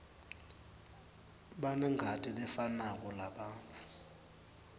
banengati lefanako labantfu